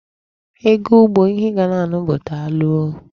Ị ga ugbo, ihe ị ga na-anụ bụ daalụ oo.